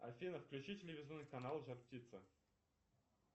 афина включи телевизионный канал жар птица